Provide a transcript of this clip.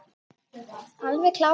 Það er alveg klárt.